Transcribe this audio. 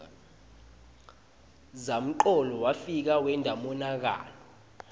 zamcolo wefika wenta umonakalo